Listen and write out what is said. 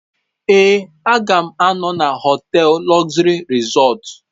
Ee, m ga-anọ na họtel Luxury Resort.